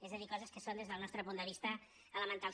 és a dir coses que són des del nostre punt de vista elementals